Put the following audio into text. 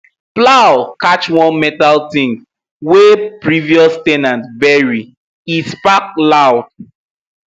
plow catch one metal thing wey previous ten ant bury e spark loud